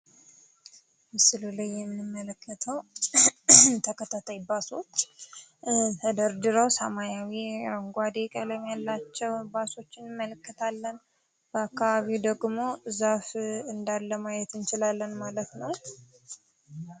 ምስሉ ላይ የምንመለከተው ተከታታይ ባሶች ተደርድረው ሰማያዊ፣ አረንጓዴ ቀለም ያላቸውን ባሶች እንመለከታለን። በአካባቢው ደግሞ ዛፍ እንዳለ ማየት እንችላለን ማለት ነው።